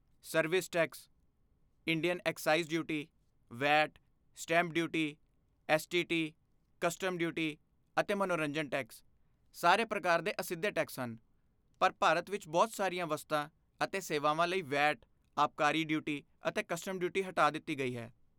Service tax, Indian excise duty, VAT, stamp duty, STT, custom duty, ਅਤੇ ਮਨੋਰੰਜਨ tax, ਸਾਰੇ ਪ੍ਰਕਾਰ ਦੇ ਅਸਿੱਧੇ ਟੈਕਸ ਹਨ, ਪਰ ਭਾਰਤ ਵਿੱਚ ਬਹੁਤ ਸਾਰੀਆਂ ਵਸਤਾਂ ਅਤੇ ਸੇਵਾਵਾਂ ਲਈ ਵੈਟ, ਆਬਕਾਰੀ ਡਿਊਟੀ, ਅਤੇ ਕਸਟਮ ਡਿਊਟੀ ਹਟਾ ਦਿੱਤੀ ਗਈ ਹੈ।